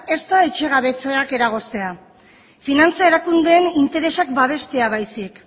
ez da etxe gabetzeak eragoztea finantza erakundeen interesak babestea baizik